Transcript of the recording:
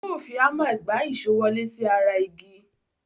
Yóò fi háńmà gbà èsó wọlé sí ara igi.